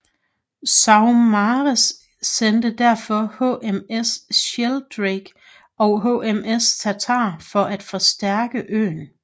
Saumarez sendte derfor HMS Sheldrake og HMS Tartar for at forstærke øen